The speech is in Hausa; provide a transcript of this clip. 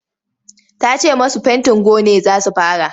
Ta ce masu fentin gone za su fara.